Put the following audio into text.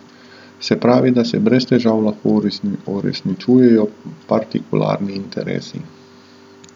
Se pravi, da se brez težav lahko uresničujejo partikularni interesi.